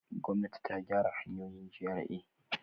Gwamnati ta gyara hanyoyin GRA.